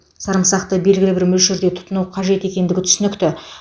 сарымсақты белгілі бір мөлшерде тұтыну қажет екендігі түсінікті